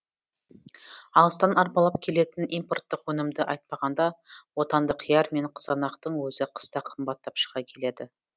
алыстан арбалап келетін импорттық өнімді айтпағанда отандық қияр мен қызанақтың өзі қыста қымбаттап шыға келеді